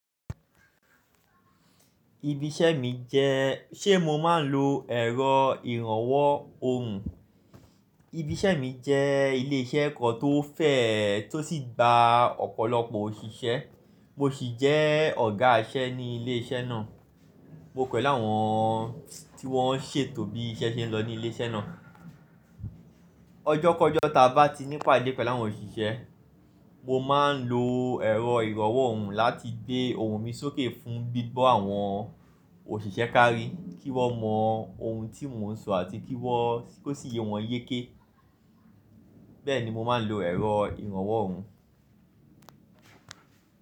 Ibi iṣẹ́ mi jẹ́, ṣé mo máa ń lo ẹ̀rọ ìrànwọ́ ohùn? Ibi iṣẹ́ mi jẹ́ ilé iṣẹ́ kan tó fẹ̀ tó sì gba ọ̀pọ̀lọpọ̀ òṣìṣẹ́. Mo sì jẹ́ ọ̀gá iṣẹ́ ní ilé iṣẹ́ náà. Mo pẹ̀lu áwọn tí wọ́n ń ṣètò bí iṣẹ́ ṣe ń lọ ní ilé iṣẹ́ náà. Ọjọ́ kọ̀ọ̀jọ́ ta bá ti ní ipade pelu áwọn òṣìṣẹ́, mo máa ń lo ẹ̀rọ ìrànwọ́ ohùn láti gbé ohùn mi sókè fún gbígbọ̀ àwọn òṣìṣẹ́ kárí kí wọ́n mọ ohun tí mò ń sọ àti kí wọ́n, kó sì yé wọn yéké. Bẹ́ẹ̀ ni mo máa ń lo ẹ̀rọ ìrànwọ́ ohùn.